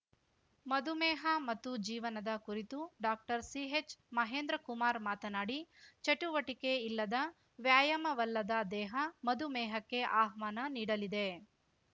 ಮಧುಮೇಹ ಮತ್ತು ಜೀವನದ ಕುರಿತು ಡಾಕ್ಟರ್ ಸಿಹೆಚ್‌ ಮಹೇಂದ್ರಕುಮಾರ್‌ ಮಾತನಾಡಿ ಚಟುವಟಿಕೆ ಇಲ್ಲದ ವ್ಯಾಯಾಮ ಒಲ್ಲದ ದೇಹ ಮಧುಮೇಹಕ್ಕೆ ಆಹ್ವಾನ ನೀಡಲಿದೆ